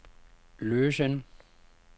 løsen